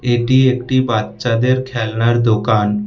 এটি একটি বাচ্চাদের খেলনার দোকান।